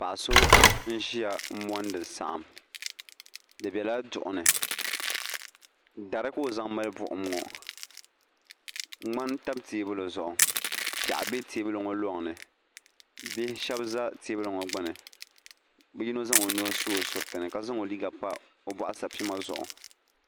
Paɣa so n ʒia m mondi saɣim di bela duɣuni dari ka o zaŋ mali buɣum ŋɔ ŋmani tam teebuli zuɣu piaɣu be teebuli ŋɔ loŋni bihi sheba za teebuli ŋɔ gbini bia yino zaŋ o nuu su o suriti ni ka zaŋ o liiga pa o boɣusapima zuɣu.